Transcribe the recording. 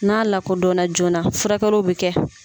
N'a lakɔdɔn na joona furakɛliw bɛ kɛ.